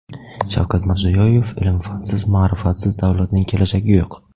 Shavkat Mirziyoyev: Ilm-fansiz, ma’rifatsiz davlatning kelajagi yo‘q.